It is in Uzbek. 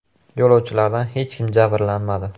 Yo‘lovchilardan hech kim jabrlanmadi.